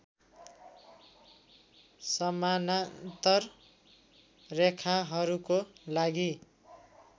समानान्तर रेखाहरूको लागि